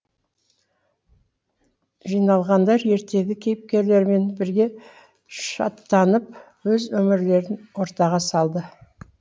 жиналғандар ертегі кейіпкерлерімен бірге шаттанып өз өмірлерін ортаға салды